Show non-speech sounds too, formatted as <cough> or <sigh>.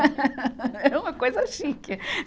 <laughs> Era uma coisa chique.